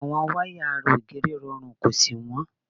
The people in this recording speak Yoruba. Àwọn wáyà ara ògiri rọrùn kò sì wọ́n.